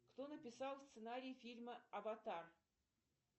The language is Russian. кто написал сценарий фильма аватар